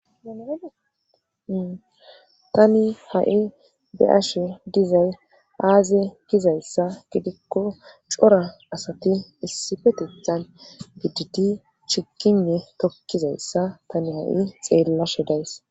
Tani ha'i be7ashe dizay aaze gizayssa gidikko cora asati issifetethan bididi chiginne tokkizayssa tani ha'i xeellashe days